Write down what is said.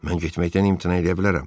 mən getməkdən imtina eləyə bilərəm.